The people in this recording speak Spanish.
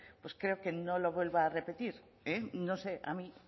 pues creo que no lo vuelva a repetir no sé a mí